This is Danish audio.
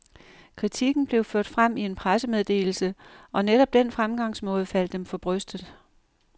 Kritikken blev ført frem i en pressemeddelse, og netop den fremgangsmåde faldt dem for brystet.